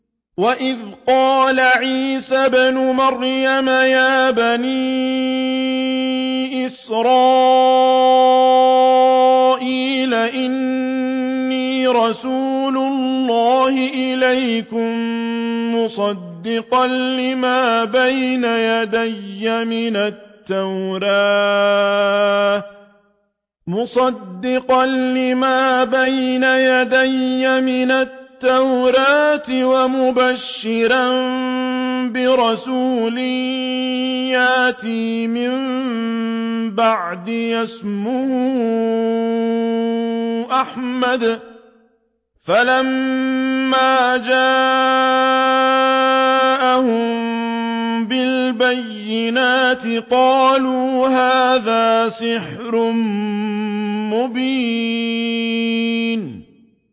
وَإِذْ قَالَ عِيسَى ابْنُ مَرْيَمَ يَا بَنِي إِسْرَائِيلَ إِنِّي رَسُولُ اللَّهِ إِلَيْكُم مُّصَدِّقًا لِّمَا بَيْنَ يَدَيَّ مِنَ التَّوْرَاةِ وَمُبَشِّرًا بِرَسُولٍ يَأْتِي مِن بَعْدِي اسْمُهُ أَحْمَدُ ۖ فَلَمَّا جَاءَهُم بِالْبَيِّنَاتِ قَالُوا هَٰذَا سِحْرٌ مُّبِينٌ